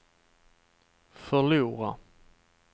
förlora